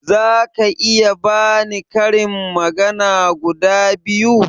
Zaka iya bani karin magana guda biyu?